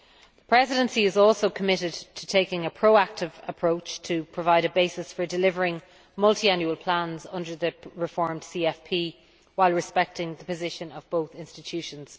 The Presidency is also committed to taking a proactive approach to provide a basis for delivering Multiannual Plans under the reformed CFP while respecting the position of both institutions.